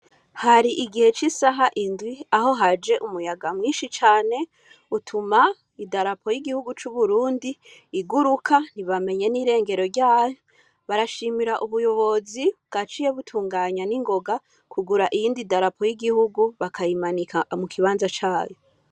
Hari igihe c'isaha indwi aho haje umuyaga mwinshi cane utuma idarapo y'igihugu c'Uburundi iguruka ntibamenye n'irengero ryayo, barashimira ubuyobozi bwaciye butunganya n'ingoga kugura iyindi darapo y'igihugu bakayimanika mu kibanza cayo.